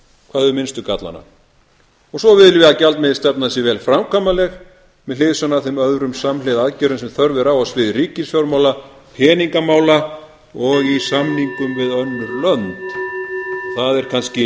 hvað hefur minnstu gallana svo viljum við að gjaldmiðilsstefnan sé vel framkvæmanleg með hliðsjón af þeim öðrum samhliða aðgerðum sem þörf er á á sviði ríkisfjármála peningamála og í samningum við önnur lönd það